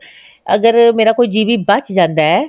ਅਗਰ ਮੇਰਾ ਕੋਈ GB ਬਚ ਜਾਂਦਾ ਹੈ